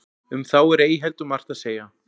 um þá er ei heldur margt að segja